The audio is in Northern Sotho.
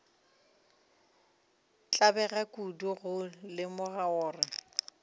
tlabega kudu go lemoga gore